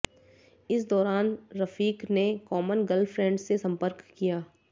इस दौरान रफीक ने कॉमन गर्लफ्रेंड से संपर्क किया